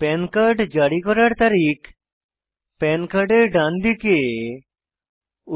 পান কার্ড জারি করার তারিখ পান কার্ডের ডানদিকে